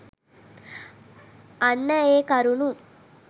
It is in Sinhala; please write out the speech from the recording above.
අන්න ඒ කරුණු